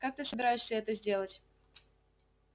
как ты собираешься это сделать